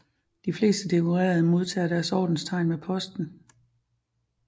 De fleste dekorerede modtager deres ordenstegn med posten